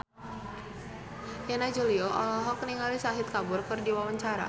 Yana Julio olohok ningali Shahid Kapoor keur diwawancara